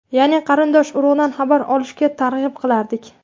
Ya’ni qarindosh-urug‘dan xabar olishga targ‘ib qilardik.